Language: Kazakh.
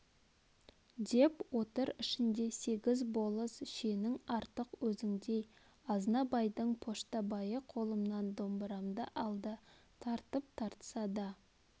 деп отыр ішінде сегіз болыс шенің артық өзіңдей азнабайдың поштабайы қолымнан домбырамды алды тартып тартса да